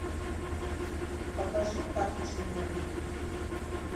покажи карточный домик